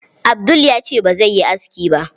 Abdul ya ce bazai yi aski ba.